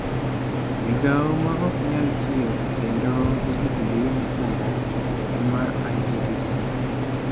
Migao ma ok nyal tiyo Kendo gi Jubilee mokwongo en mar IEBC.